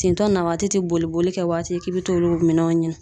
Tintɔ na waati ti boliboli kɛ waati k'i be t'olu minɛnw ɲini.